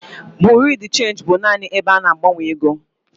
Bureau de change bụbu naanị ebe a na-agbanwe ego.